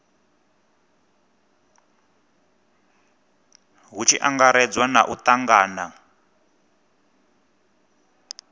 hu tshi angaredzwa u tangana